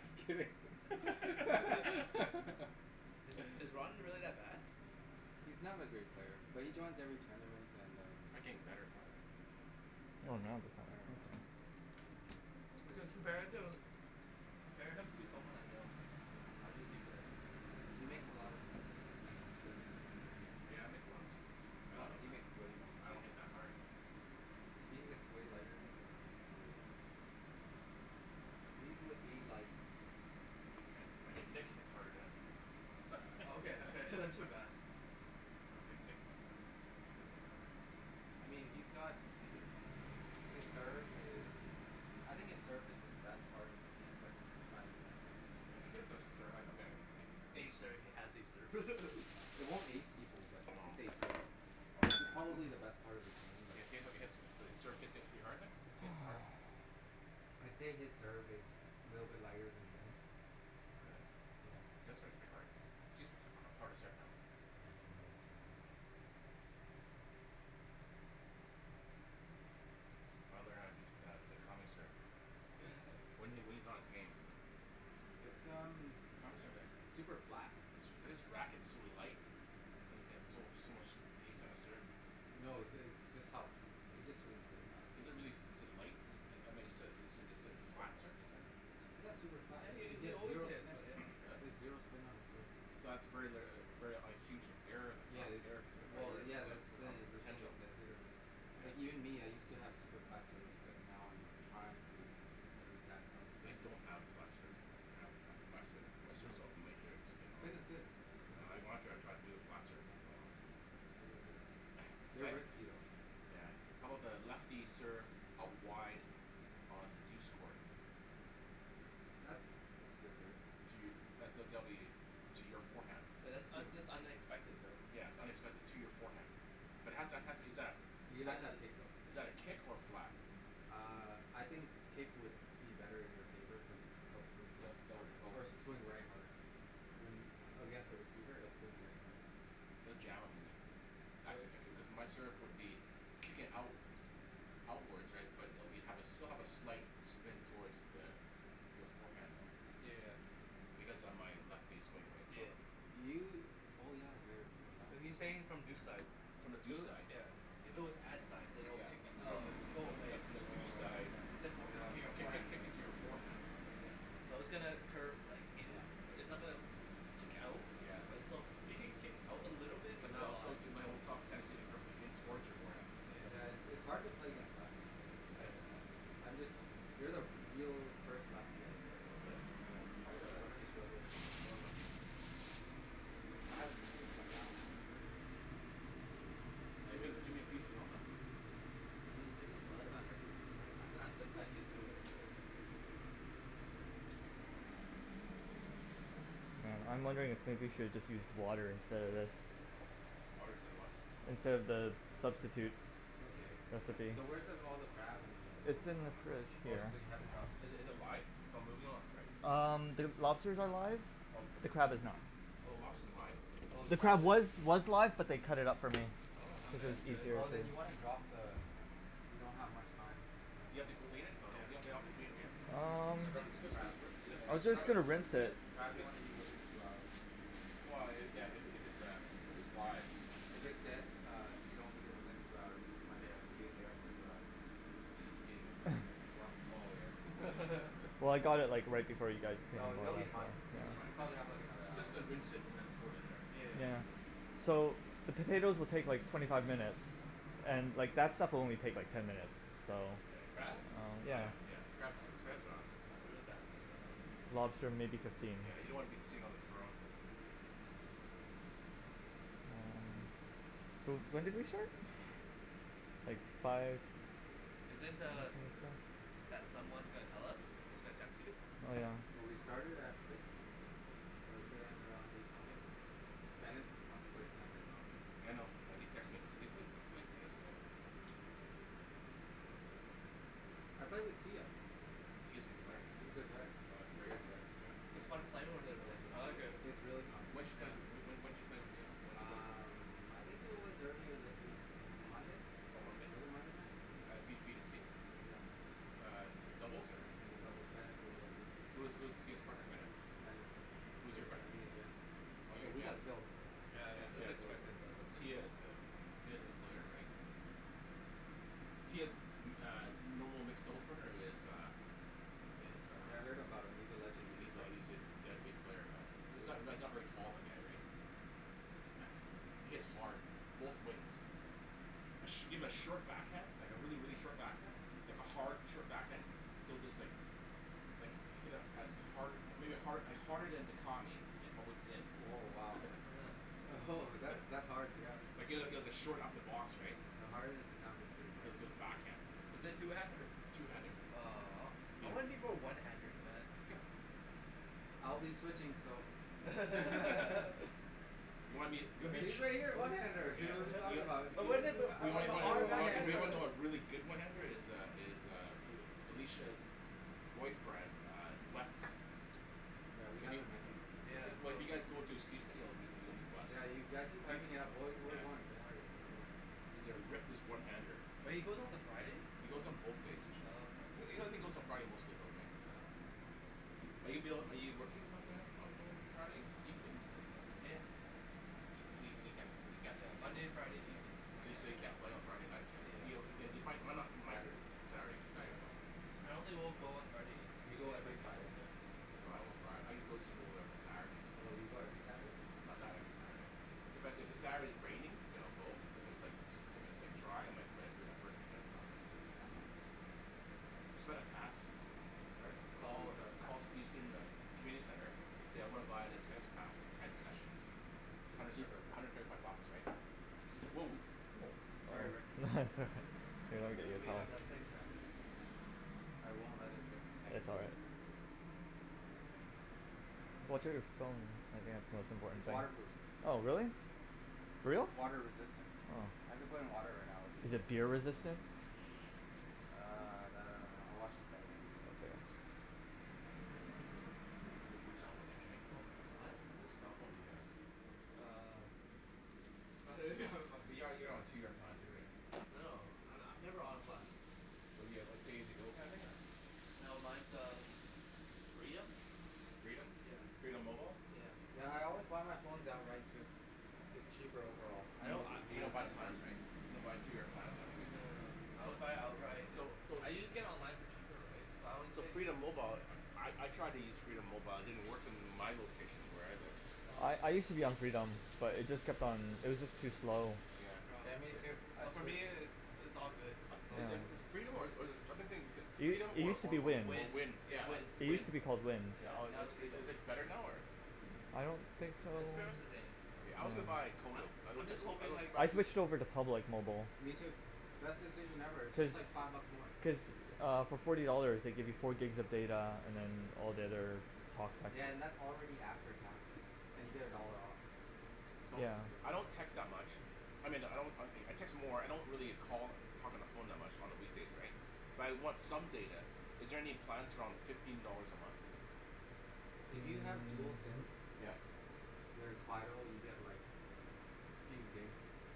just Yeah. kidding Is is Ron really that bad? He's not a great player but he joins every tournament and um Looking better though Oh no. I don't know. compare him compare him to someone I know, how did he play? He makes a lot of mistakes and he doesn't even hit hard Yeah, I make a lot of mistakes, I don't No he hit makes way more I don't mistakes hit than that you hard He he hits way lighter than you and he makes way more mistakes. He would be like I mean Nick hits hard than him Okay okay Uh Nick Nick, Nick doesn't hit that hard I mean he's got the hit His serve is I think his serve is his best part of his game but it's not even that good I mean he has a serve, I mean he hit Ace serve he has a serve It won't ace people but No it it's probably the best part of his game but He he hits, his serve gets to be hard then, he hits hard? I'd say his serve is a little bit lighter than Jen's. All right. Yeah. Jen's serve is pretty hard, she's uh harder serve now. Yeah she has a harder serve now. I learn how to do Takami's serve, when he when he's on his game It's um s- super super flat, flat his his racket is so light and he has so so much hast on his serve No the it's just how, he just swings really fast Is it really, is it light? Is I mean is it is it a flat term you said? Yeah it's super flat Yeah and he he he he has always zero hits spin, he really? has zero spin on his serves So that's very litera- very a huge error in that, Yeah it's error potent, well yeah err that's the poten- the thing potential it's a hit or miss Like even Yeah me I used to have super flat serves but now I'm trying to at least have some I spin don't have flat serve, I have my spin, my No serves, no has major spin all. Spin is good, spin is I good wanna try to do a flat serve once in a while They're risky though Yeah I'm about lefty serve out wide on the douce court? That's that's a good serve To, that's a W to your forehand. Oh Yeah that's un- that's unexpected though. its unexpected to your forehand, but it has, exactly, You but have to have that kick though is that a kick or a flat? Uh I think kick would be better in your favor cuz it'll swing left hard or swing right harder When against a receiver it'll swing right harder It'll jam in you. Actu- cuz my serve would be kicking out outwards right but it will have be still a slight spin toward the your forehand though. Yeah Because of my lefty swing right so Yeah You oh yeah you're you're a Are lefty you He's saying it saying from from deuce deuce side, side From the deuce side yeah, if it was ad side than it would Yeah. kick it up From and it the from will the go from away the from the Oh deuce side right yeah, yeah kick- kick- right kicking to your forehand Yeah But all still it might reflect off the tendency of the curve towards your forearm Yeah it's it's hard to play against lefties I I I'm just, you're the real first lefty I've played Really? against, so How I 'bout the other I really lefties? struggle with No other lefties? I haven't been been playing that long but um yeah you're Jimmy the Jimmy feasts on all lefties Jimmy Jimmy What? feasts on everyone I I just kinda used to it, that's it Hmm I'm wondering if maybe you should just use water instead of this? Water instead of what? Instead of the substitute It's okay. recipe So where's the all the crab and. It's in the fridge Oh here so you haven't dropped it in Is is it live, its not moving lots right? Um the lobsters are live, Oh. the crab is not. Oh the Oh. lobster's live? Oh the The crab crab is was was live but they cut it up for me, Oh because its That's good easier Oh than then you wanna drop the, you don't have much time You have to clean it? No no, you don't have to clean it yeah, Um scrub Especially just just crab. I was scrub just it. gonna Just rinse it Crab you just. wanna eat within two hours. Yeah yeah if its a if it's live If it's dead uh if you don't eat it within two hours you might be in there for two hours In where? Oh yeah. Well I got it like right before you guys came, No they'll but Oh um be yeah. fine, It will be you fine. probably have like another Just hour just rinse it and then throw it in there. So the potatoes will take like twenty five minutes and like that stuff will only like take ten minutes, so The crab? Yeah Lobster maybe fifteen Yeah you don't wanna be seeing on the throne So when did they start? Like five Isn't er that someone gonna tell us, is gonna text you? Oh yeah Oh we started at six so it should end around eight something. Bennett wants to play tonight as well. Yeah I know he texted me, saying, "Hey wait are we playing tennis tonight?" I played with Tia Tia is a good player, She's a good player, oh she's a great great player, player. yeah. It's When fun playing Yeah with her though, I like it. it it's really fun did you play Yeah when when did you play with her, when did you play against Um her? I think it was earlier this week, M- Monday? On Monday? Was it Monday night, something At like b b t that c? Yeah Uh doubles or? In the doubles, Bennet was there too. Who who's Tia's partner? Bennett? Bennet Who's your partner? me and Jen. Oh you Oh and we Jen. got killed Yeah Yeah yeah that's Jen. expected though right Tia is a deadly player right? Tia's uh, normal mixed doubles partner is uh, is Yeah I uh, heard about him, he's a legend in these he's a part he's a deadly player man, he's not not very tall the guy, right? He hits hard, both wings. A shim a short back hand like a really really short backhand, like a hard short backhand he'll just like like hit a as hard a maybe hard harder than Dicami with within. Oh wow Oh ho that's that's hard yeah even at short upper box right? Yeah harder than Dicami is pretty hard Backhand. Is is two handed? I'll be switching so You'll be the Usually I get a one handed here what're you talking about But wasn't it but but Oh one handed Yeah we haven't met these these Yeah Yeah you've actually been hyping it up we're we're going doing worry we're going He's a reckless one-handed. But he goes on the Friday? He goes on both days Oh okay. usually. He only goes on Friday mostly though right? Oh okay. Are you ab- are you working on Mo- on Friday evenings? Yeah You mean, you can't Yeah, Monday and Friday evenings I can't. Yeah. Yeah. do? I don't think we'll go on Friday, Do you go even if I every can. Friday? Oh you go every Saturday? Not not every Saturday. Sorry? Oh oh you got a pass? Community center. So I wanna buy the tennis pass, ten sessions. It's hundred cheaper thirty five bucks, right? Whoa Sorry Rick here let me get you That's what a you towel have, that's place mats I won't let it drip Oh it's all right Watch out of the phone, okay, its the most important It's thing. water proof Oh really? Yeah For reals? Water resistant Oh. I could put it in water right now and I'd Is it be okay beer resistant? Uh that I don't know I watch the Which cellphone do you have Jimmy? Oh? Which cellphone do you have? Uh You're you're on a two year plan too, right? No no I I'm never on plan. So you have like a pay as you go plan thing or No mine's uh Freedom. Freedom? Yeah. Freedom mobile? Yeah Yeah. yeah I always buy my phone outright too, its cheaper overall Hmm? You don't buy plans, right? You don't buy two year plans on it No no no. right? I always buy it outright, So. So so I can get it online for cheaper, right, so So Freedom mobile, I I tried to use Freedom mobile, it didn't work in my location where I live. I I Oh use to be on Freedom, but it just kept on, it was just too slow Yeah Yeah me too, I Oh for me switched it's it's all good As is is Yeah Freedom or or is it or I been thinking It Freedom it or use to or be or Wind, Wind. Wind? It's Wind. it use Wind. to be called Wind. Yeah, Or now it's Is Freedom. is it better now, or? I don't think so. No it's pretty much the same Yeah, I also buy Kodo. I I also, just I hoping also like I switched over to Public mobile. Me too, best decision ever it's Cuz, just like five bucks more Cuz uh for forty dollars they give you four gigs of data and then all the other Yeah and that's already after tax and you get a dollar off So Yeah I don't text that much, I mean I don't I I text more I don't really call talk on the phone much on the weekdays right but I want some data, is there any plans around fifteen dollars a month? If you have dual Hmm SIM Yes yes There's Fido you get like few gigs